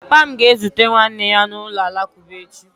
Papa m ga-ezute nwanne ya n'ụlọ alakụba echi.